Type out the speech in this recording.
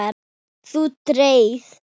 Þú deyrð.